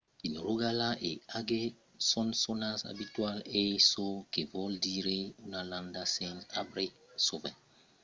in rogaland e agder son sonats abitualament hei çò que vòl dire una landa sens arbre sovent cobèrta de bruc